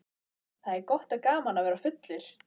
Það er gott og gaman að vera fullur.